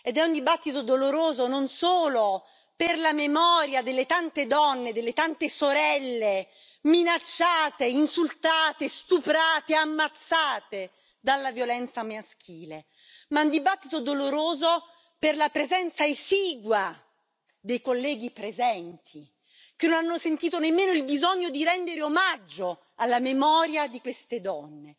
È un dibattito doloroso non solo per la memoria delle tante donne e delle tante sorelle minacciate, insultate, stuprate, ammazzate dalla violenza maschile, ma è un dibattito doloroso per la presenza esigua dei colleghi presenti, che non hanno sentito nemmeno il bisogno di rendere omaggio alla memoria di queste donne.